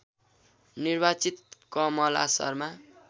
निर्वाचित कमला शर्मा